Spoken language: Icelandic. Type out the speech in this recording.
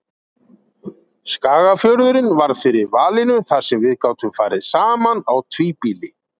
Skagafjörðurinn varð fyrir valinu þar sem við gátum farið saman á tvíbýli.